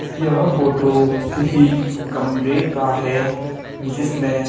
यह फोटो किसी कमरे का है जिसमें--